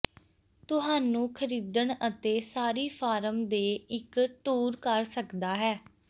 ਤੁਹਾਨੂੰ ਖਰੀਦਣ ਅਤੇ ਸਾਰੀ ਫਾਰਮ ਦੇ ਇੱਕ ਟੂਰ ਕਰ ਸਕਦਾ ਹੈ